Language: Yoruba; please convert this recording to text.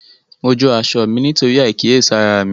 Mo jó aṣọ mí nítorí àìkíyèsára mi